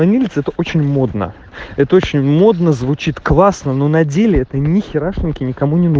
это очень модно это очень модно звучит классно но на деле это нехерашеньки ника